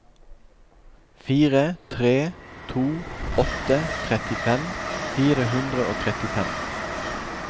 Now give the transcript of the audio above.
fire tre to åtte trettifem fire hundre og trettifem